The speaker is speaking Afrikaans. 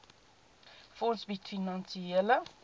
fonds bied finansiële